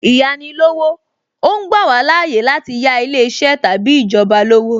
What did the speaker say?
Īyáni lówó, ó ń gbà wá láàyè láti yà ilé iṣẹ́ tàbí ìjọba lówó